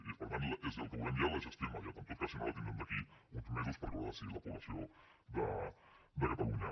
i per tant és el que volem ja la gestió immediata en tot cas si no la tindrem d’aquí a uns mesos perquè ho haurà decidit la població de catalunya